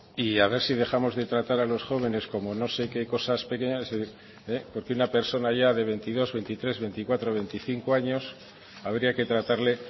y a ver si dejamos de tratar a los jóvenes como no sé qué cosas pequeñas porque una persona ya de veintidós veintitrés veinticuatro veinticinco años habría que tratarle